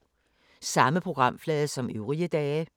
Samme programflade som øvrige dage